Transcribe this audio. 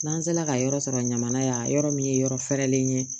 N'an sera ka yɔrɔ sɔrɔ ɲamana yan yɔrɔ min yɔrɔ fɛrɛlen ye